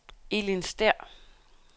Elin Stæhr